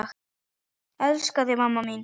Elska þig, mamma mín.